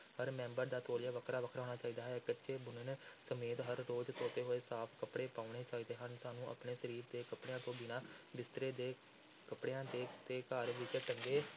ਹਰ member ਦਾ ਤੌਲੀਆ ਵੱਖਰਾ-ਵੱਖਰਾ ਹੋਣਾ ਚਾਹੀਦਾ ਹੈ, ਕੱਛੇ-ਬੁਨੈਣ ਸਮੇਤ ਹਰ ਰੋਜ਼ ਧੋਤੇ ਹੋਏ ਸਾਫ਼ ਕੱਪੜੇ ਪਾਉਣੇ ਚਾਹੀਦੇ ਹਨ, ਸਾਨੂੰ ਆਪਣੇ ਸਰੀਰ ਦੇ ਕੱਪੜਿਆਂ ਤੋਂ ਬਿਨਾਂ ਬਿਸਤਰੇ ਦੇ ਕੱਪੜਿਆਂ ਤੇ, ਤੇ ਘਰ ਵਿੱਚ ਟੰਗੇ